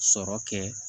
Sɔrɔ kɛ